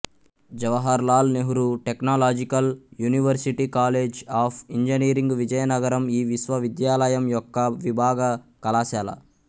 Jawahar Lal Nehru technological university college of engineering Vizianagaram ఈ విశ్వవిద్యాలయం యొక్క విభాగ కళాశాల